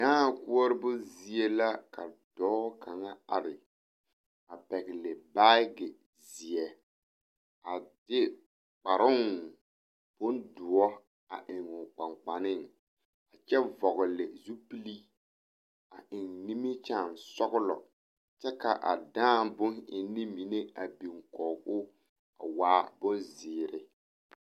Dãã koɔroo zie la ka dɔɔ kaŋa are a pɛgle baage zeɛ a de kparoŋ bondoɔ a eŋ o kpankpaneŋ a kyɛ vɔgle zupili a eŋ nimikyaanesɔglɔ kyɛ k,a dãã boneŋne mine a biŋ kɔge o a waa bonzeere.